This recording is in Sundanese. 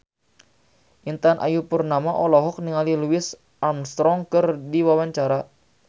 Intan Ayu Purnama olohok ningali Louis Armstrong keur diwawancara